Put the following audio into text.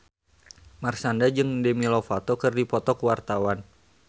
Marshanda jeung Demi Lovato keur dipoto ku wartawan